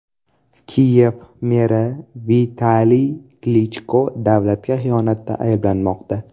Kiyev meri Vitaliy Klichko davlatga xiyonatda ayblanmoqda.